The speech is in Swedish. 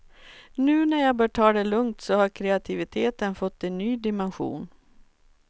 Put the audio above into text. Nu när jag bör ta det lugnt så har kreativiteten fått en ny dimension.